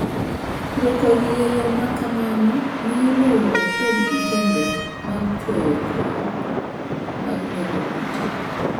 Puro kodhi e yo ma kamano miyo lowo ok bed gi kembe mag chwoyo kod mag nego kute.